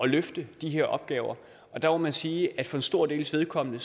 løfte de her opgaver og der må man sige at for en stor dels vedkommende